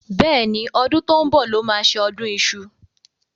Bẹ́ẹ̀ni, ọdún tó ń bọ̀ lọ́ ma ṣe ọdún iṣu.